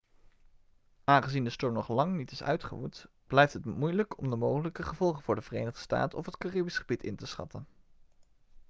aangezien de storm nog lang niet is uitgewoed blijft het moeilijk om de mogelijke gevolgen voor de verenigde staten of het caribisch gebied in te schatten